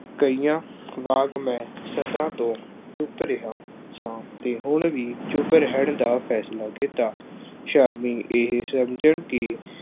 ਕਈਆਂ ਵਾਂਗ ਮੈਂ ਸਦਾ ਤੋਂ ਚੁੱਪ ਰਿਹਾ ਸਾਂ ਅਤੇ ਹੁਣ ਵੀ ਚੁੱਪ ਰਹਿਣ ਦਾ ਫੈਸਲਾ ਕੀਤਾ। ਸ਼ਾਮੀ ਇਹ ਸਮਝਣ ਕਿ